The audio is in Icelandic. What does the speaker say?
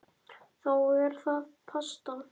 Þá er það pasta.